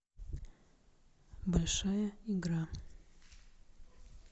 большая игра